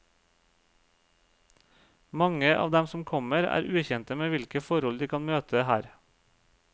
Mange av dem som kommer, er ukjente med hvilke forhold de kan møte her.